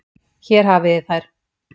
Hér hafið þið þær.